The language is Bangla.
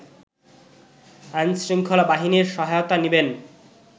আইনশৃঙ্খলা বাহিনীর সহায়তা নিবেন